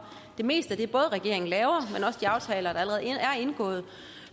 det meste af det regeringen laver og aftaler der allerede er indgået